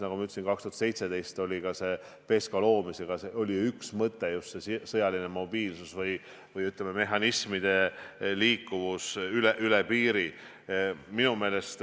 Nagu ma ütlesin, 2017 oli PESCO loomise üks mõte just sõjaline mobiilsus või, ütleme, tehnika liikuvus üle piiri.